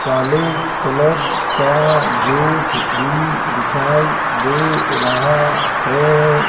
काले कलर का गेट भी दिखाई दे रहा है।